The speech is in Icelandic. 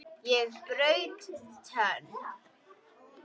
Ég braut tönn!